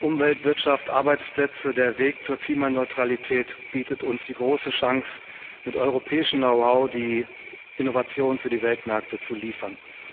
Umwelt, Wirtschaft, Arbeitsplätze Der Weg zur Klimaneutralität bietet uns die große Chance, mit europäischem Knowhow die Innovation für die Weltmärkte zu liefern.